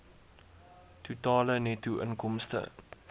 totale netto inkomste